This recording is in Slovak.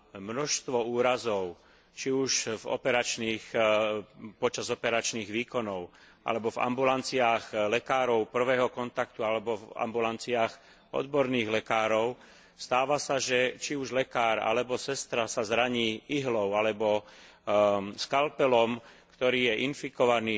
Množstvo úrazov, či už počas operačných výkonov, alebo v ambulanciách lekárov prvého kontaktu, alebo v ambulanciách odborných lekárov, stáva sa, že, či už sestra, alebo lekár sa zraní ihlou alebo skalpelom, ktorý je infikovaný